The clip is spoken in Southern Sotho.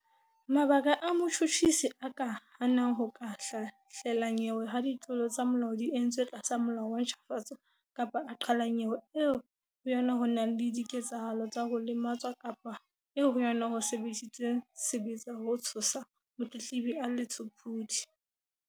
Mabaka ao motjhutjhisi a ka hanang ho ka hlahlela nyewe ha ditlolo tsa molao di entswe tlasa Molao wa ntjhafatso kapa a qhala nyewe eo ho yona ho nang le dike-tsahalo tsa ho lematswa kapa eo ho yona ho sebedisitsweng sebetsa ho tshosa motletlebi a le tshopodi.